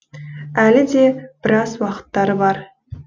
әлі де біраз уақыттары бар